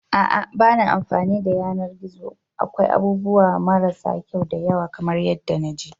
A'a ba na amfani da yanar gizo akwai abubuwa marasa kyau da yawa kamar yadda na ji.